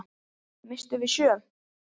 Misstum við sjö?